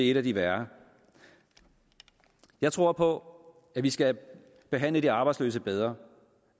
et af de værre jeg tror på at vi skal behandle de arbejdsløse bedre